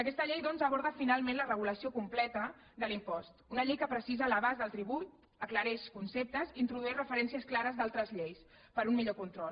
aquesta llei doncs aborda finalment la regulació completa de l’impost una llei que precisa l’abast del tribut aclareix conceptes introdueix referències clares d’altres lleis per a un millor control